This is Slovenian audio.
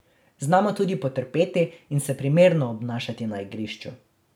Znamo tudi potrpeti in se primerno obnašati na igrišču.